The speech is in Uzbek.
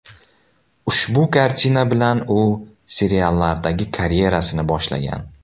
Ushbu kartina bilan u seriallardagi karyerasini boshlagan.